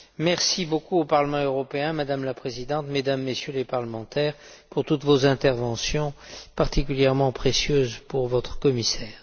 Merci beaucoup au Parlement européen, Madame la Présidente, Mesdames et Messieurs les Députés, pour toutes vos interventions, particulièrement précieuses pour votre Commissaire.